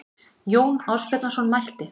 Jón Ásbjarnarson mælti